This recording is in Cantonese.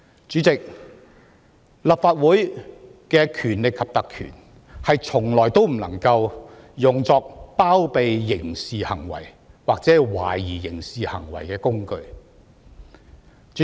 主席，立法會的權力及特權從來不能用作包庇刑事行為或涉嫌刑事行為的工具。